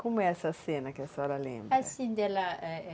Como é essa cena que a senhora lembra? Assim, dela...